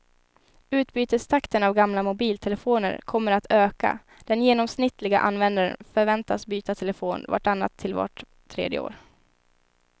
Utbytestakten av gamla mobiltelefoner kommer att öka, den genomsnittliga användaren förväntas byta telefon vart annat till vart tredje år.